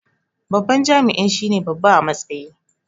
Babban jami'i shine babba a matsayi